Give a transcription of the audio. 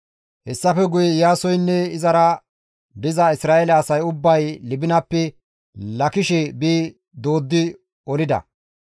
Hessafe guye Iyaasoynne izara diza Isra7eele asay ubbay Libinappe Laakishe bi dooddi olida.